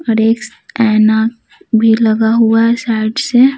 और एना भी लगा हुआ है साइड से।